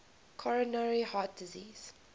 coronary heart disease